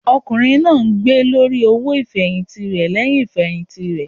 Ọkùnrin náà ń gbé lórí owó ifẹhinti rẹ lẹhìn ifẹhinti rẹ.